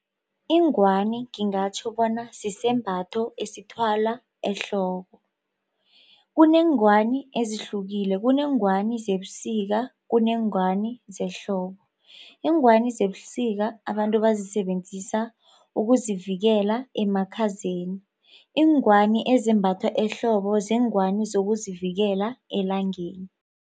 Ingwani ngingatjho bona sisembatho esithwalwa ehloko. Kuneengwani ezihlukile, kuneengwani zebusika, kuneengwani zehlobo. Iingwani zebusika abantu bazisebenzisa ukuzivikela emakhazeni. Iingwani ezimbathwa ehlobo ziingwani zokuzivikela elangeni.